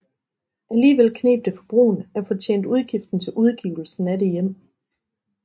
Alligevel kneb det for Bruun at få tjent udgiften til udgivelsen af det hjem